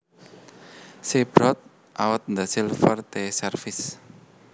She brought out the silver tea service